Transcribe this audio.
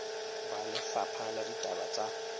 ba lefapha la ditaba tsa